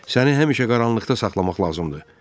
Səni həmişə qaranlıqda saxlamaq lazımdır.